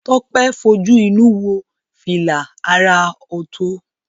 Tope fojú inú wo fila àrà ọ̀tọ̀